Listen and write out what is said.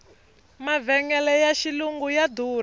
mavhengele ya xilungu ya durha